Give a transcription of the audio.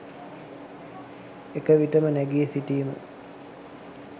එක විටම නැගි සිටීම